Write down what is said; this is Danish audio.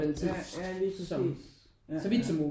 Ja ja lige præcis ja ja